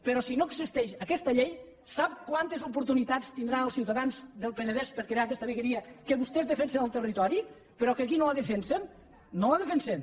però si no existeix aquesta llei sap quantes oportunitats tindran els ciutadans del penedès per crear aquesta vegueria que vostès defensen al territori però que aquí no la defensen no la defensen